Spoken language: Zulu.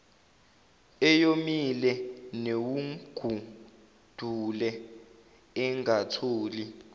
eyomile newugwadule engatholi